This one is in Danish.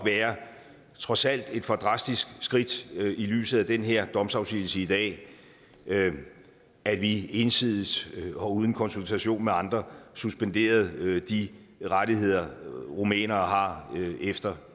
trods alt et for drastisk skridt i lyset af den her domsafsigelse i dag at vi ensidigt og uden konsultation af andre suspenderede de rettigheder rumænere har efter